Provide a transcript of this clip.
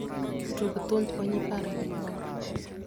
Tug thumb Onyi par yud mor.